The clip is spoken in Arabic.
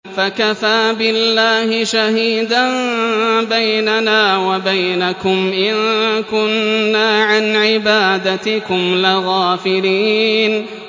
فَكَفَىٰ بِاللَّهِ شَهِيدًا بَيْنَنَا وَبَيْنَكُمْ إِن كُنَّا عَنْ عِبَادَتِكُمْ لَغَافِلِينَ